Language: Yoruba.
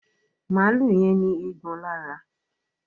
Maalu yén ní Eégbọn lára